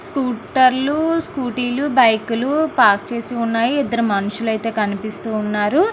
స్కుటర్లు స్కూటీలు బైక్లు పార్క్ చేసి ఉన్నాయి. ఇక్కడ ఇద్దరు మనుషులు అయితే కనిపిస్తూ ఉన్నారు.